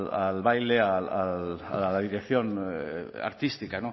al baile a la dirección artística